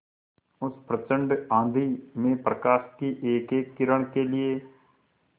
उस प्रचंड आँधी में प्रकाश की एकएक किरण के लिए